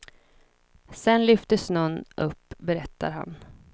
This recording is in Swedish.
Sedan lyftes snön upp, berättar han.